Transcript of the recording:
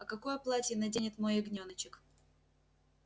а какое платье наденет мой ягнёночек